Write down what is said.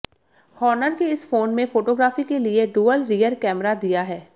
Honor के इस phone में फोटोग्राफी के लिए डुअल रियर कैमरा दिया है